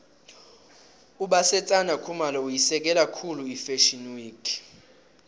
ubasetsana khumalo uyisekela khulu ifashio week